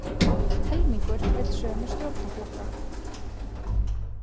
Helmingur vill sömu stjórnarflokka